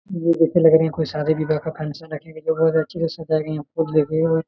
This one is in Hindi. यह देख के लग रहा है कोई शादी विवाह का फंक्शन है क्योंकि बहुत ही अच्छे से सजाया गया है फूल दे के।